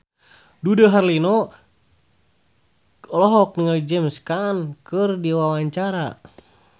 Dude Herlino olohok ningali James Caan keur diwawancara